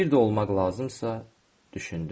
Bir də olmaq lazımdısa, düşündüm.